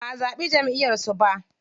Baʼa zaɓi Jamʼiyar su ba.